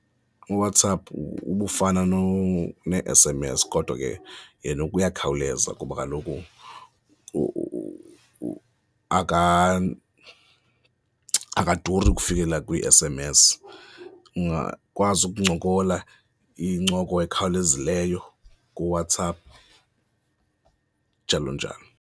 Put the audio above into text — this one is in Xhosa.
UWhatsApp ubufana nee-S_M_S kodwa ke yena uyakhawuleza kuba kaloku akaduri ukufikelela kwii-S_M_S, ungakwazi ukuncokola incoko ekhawulezileyo kuWhatsApp njalo njalo.